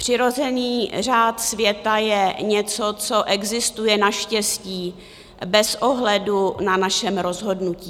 Přirozený řád světa je něco, co existuje naštěstí bez ohledu na našem rozhodnutí.